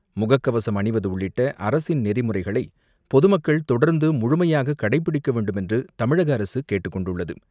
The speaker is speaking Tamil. முகக்கவசம் அணிவது உள்ளிட்ட அரசின் நெரிமுறைகளை பொதுமக்கள் தொடர்ந்து முழுமையாகக் கடைபிடிக்க வேண்டும் என்று தமிழக அரசு கேட்டுக்கொண்டுள்ளது.